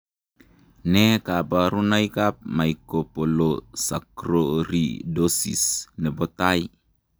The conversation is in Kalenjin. Nee kabarunoikab Mucopolysaccharidosis nebo tai?